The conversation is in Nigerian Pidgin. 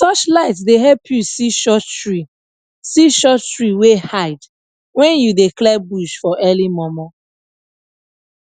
touchlight dey help you see short tree see short tree wey hide when you dey clear bush for early momo